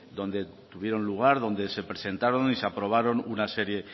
donde tuvieron lugar donde se presentaron y se aprobaron una serie